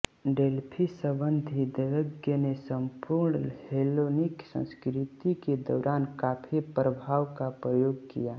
Delphi संबंधी दैवज्ञ ने संपूर्ण हेलेनिक संस्कृति के दौरान काफी प्रभाव का प्रयोग किया